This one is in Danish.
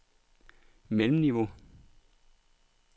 mellemniveau